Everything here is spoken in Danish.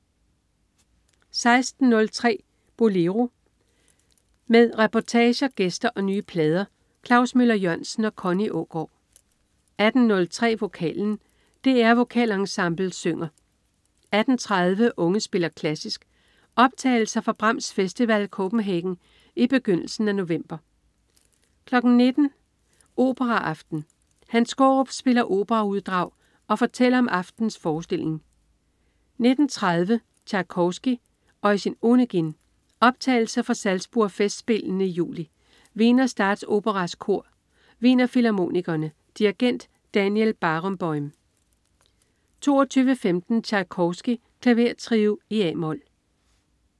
16.03 Bolero. Med reportager, gæster og nye plader. Klaus Møller-Jørgensen og Connie Aagaard 18.03 Vokalen. DR Vokalensemblet synger 18.30 Unge spiller klassisk. Optagelser fra Brahms Festival Copenhagen i begyndelsen af november 19.00 Operaaften. Hans Skaarup spiller operauddrag og fortæller om aftenens forestilling 19.30 Tjajkovskij: Eugen Onegin. Optagelse fra Salzburg Festspillene i juli. Wiener Statsoperas Kor. Wienerfilharmonikerne. Dirigent: Daniel Barenboim 22.15 Tjajkovskij: Klavertrio a-mol